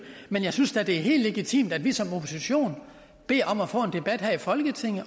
men jeg synes da at det er helt legitimt at vi som opposition beder om at få en debat her i folketinget